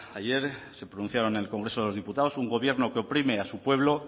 ayer se pronunciaron en el congreso de los diputados un gobierno que oprime a su pueblo